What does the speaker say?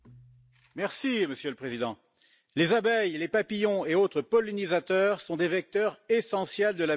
Monsieur le Président, les abeilles, les papillons et autres pollinisateurs sont des vecteurs essentiels de la biodiversité.